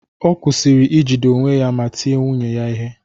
Ọ kwụsịrị ijide onwe ya ma tie nwunye ya ihe